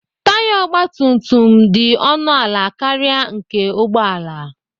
Taya ọgbatumtum dị ọnụ ala karịa nke ụgbọala.